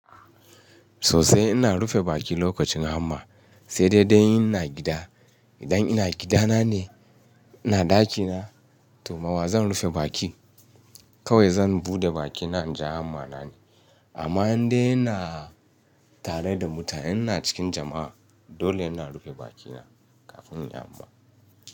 Sosai ina rufe baki lokacin hammer sai daidai in ina gida. Idan ina gidana ne, ina ɗakina to ma wa zan rufe baki? Kawai zan buɗe bakina in ji hammer na ne. Amma in dai ina tare da mutane, ina cikin jama'a dole ina rufe bakina kafin in yi hammer.